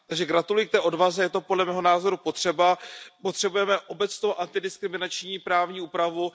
Takže gratuluju k té odvaze, je to podle mého názoru potřeba, potřebujeme obecnou antidiskriminační právní úpravu.